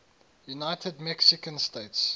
united mexican states